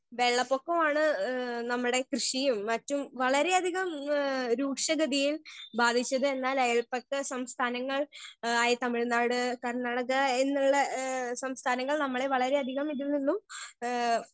Speaker 1 വെള്ളപ്പൊക്കമാണ് ഏ നമ്മടെ കൃഷിയും മറ്റും വളരെ അധികം ഏ രൂക്ഷഗതിയിൽ ബാധിച്ചത് എന്നാൽ അയൽപക്ക സംസഥാനങ്ങൾ ആയ തമിഴ്നാട് കർണാടക എന്നുള്ള ഏ സംസ്ഥാനങ്ങൾ നമ്മളെ വളരെ അധികം ഇതിൽ നിന്നും ഏ.